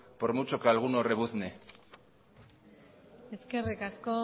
por mucho que alguno rebuzne eskerrik asko